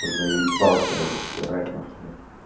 заебался уже стирать нахуй его